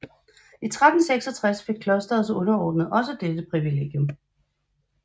I 1366 fik klosterets underordnede også dette privilegium